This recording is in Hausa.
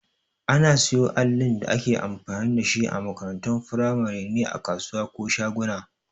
Ana siyo allin da ake amfani dashi a makarantun firamare ne a kasuwa ko shaguna